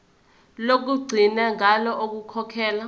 lokugcina ngalo ukukhokhela